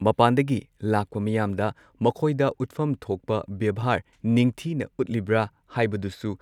ꯃꯄꯥꯥꯟꯗꯒꯤ ꯂꯥꯛꯄ ꯃꯤꯌꯥꯝꯗ ꯃꯈꯣꯏꯗ ꯎꯠꯐꯝ ꯊꯣꯛꯄ ꯕꯦꯚꯥꯔ ꯅꯤꯡꯊꯤꯅ ꯎꯠꯂꯤꯕ꯭ꯔꯥ ꯍꯥꯏꯕꯗꯨꯁꯨ